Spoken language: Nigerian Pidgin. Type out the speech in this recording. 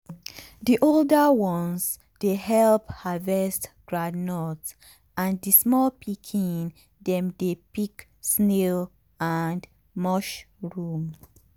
the older ones dey help harvest groundnut and the small pikin dem dey pick snail and mushroom.